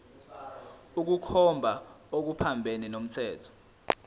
ukukhomba okuphambene nomthetho